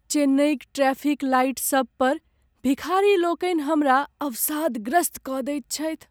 चेन्नईक traffic लाइटसभ पर भिखारीलोकनि हमरा अवसादग्रस्त कऽ दैत छथि।